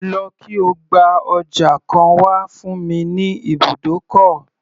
Lọ kí o gba ọjà kan wá fún mi ní ibùdókọ̀.